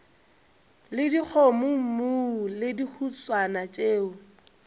le dikgomommuu le dihuswane tšeo